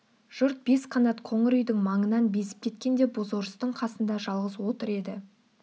жұрт бес қанат қоңыр үйдің маңынан безіп кеткенде бозорыстың қасында жалғыз отыр еді